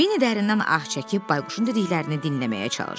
Vinni dərindən ah çəkib bayquşun dediklərini dinləməyə çalışdı.